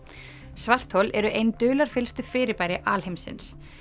svarthol eru ein fyrirbæri alheimsins